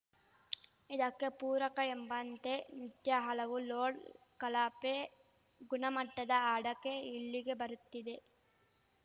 ಇದಕ್ಕೆ ಪೂರಕ ಎಂಬಂತೆ ನಿತ್ಯ ಹಲವು ಲೋಡ್‌ ಕಳಪೆ ಗುಣಮಟ್ಟದ ಅಡಕೆ ಇಲ್ಲಿಗೆ ಬರುತ್ತಿದೆ